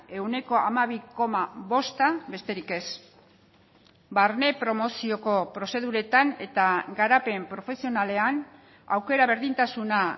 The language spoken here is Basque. ehuneko hamabi koma bosta besterik ez barne promozioko prozeduretan eta garapen profesionalean aukera berdintasuna